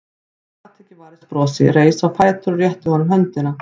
Hún gat ekki varist brosi, reis á fætur og rétti honum höndina.